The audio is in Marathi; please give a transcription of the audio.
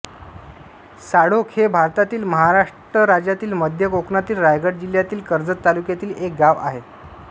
साळोख हे भारतातील महाराष्ट्र राज्यातील मध्य कोकणातील रायगड जिल्ह्यातील कर्जत तालुक्यातील एक गाव आहे